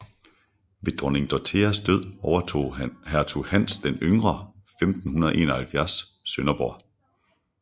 Ved dronning Dorotheas død overtog hertug Hans den Yngre 1571 Sønderborg